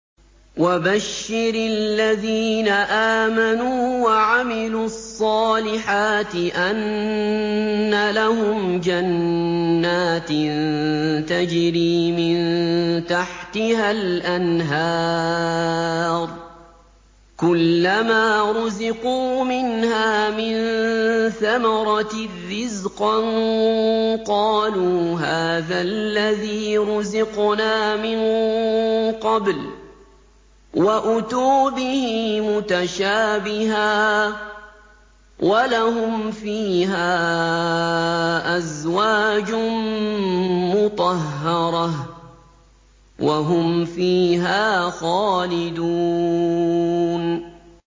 وَبَشِّرِ الَّذِينَ آمَنُوا وَعَمِلُوا الصَّالِحَاتِ أَنَّ لَهُمْ جَنَّاتٍ تَجْرِي مِن تَحْتِهَا الْأَنْهَارُ ۖ كُلَّمَا رُزِقُوا مِنْهَا مِن ثَمَرَةٍ رِّزْقًا ۙ قَالُوا هَٰذَا الَّذِي رُزِقْنَا مِن قَبْلُ ۖ وَأُتُوا بِهِ مُتَشَابِهًا ۖ وَلَهُمْ فِيهَا أَزْوَاجٌ مُّطَهَّرَةٌ ۖ وَهُمْ فِيهَا خَالِدُونَ